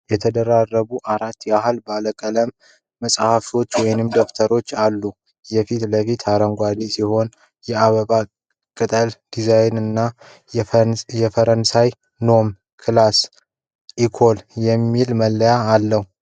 የተደራረቡ አራት ያህል ባለቀለም መጽሐፍቶች/ደብተሮች አሉ። የፊትለፊቱ አረንጓዴ ሲሆን፣ የአበባ ቅጠል ዲዛይን እና በፈረንሳይኛ "Nom"፣ "Classe" እና "Ecole" የሚሉ መለያዎች አሉት።